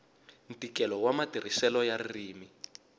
ntikelo wa matirhiselo ya ririmi